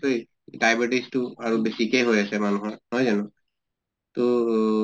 তুই diabetes টো আৰু বেছিকে হৈ আছে মান্হৰ নহয় জানো? তহ